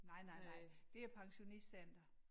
Nej nej nej det er pensionistcenter